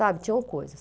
Sabe, tinham coisas.